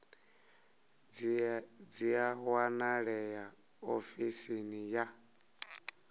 dzi a wanalea ofisini ya